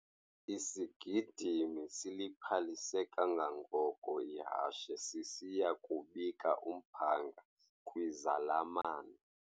Isigidimi siliphalise kangangoko ihashe sisiya kubika umphanga kwizalamane.